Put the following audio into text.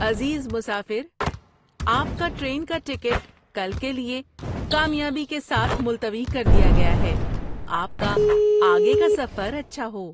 عزیز مسافر، آپ کا ٹرین کا ٹکٹ کل کے لیے کامیابی کے ساتھ ملتوی کر دیا گیا ہے۔ آپ کا آگے کا سفر اچھا ہو!